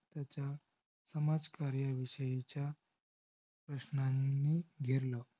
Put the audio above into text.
समाजकार्यविषयीच्या प्रश्नांनी घेरलं.